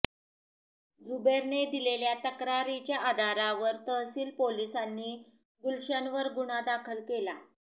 जुबेरने दिलेल्या तक्रारीच्या आधारावर तहसील पोलिसांनी गुलशनवर गुन्हा दाखल केला